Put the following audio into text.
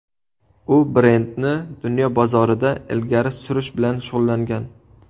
U brendni dunyo bozorida ilgari surish bilan shug‘ullangan.